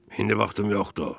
İndi vaxtım yoxdur.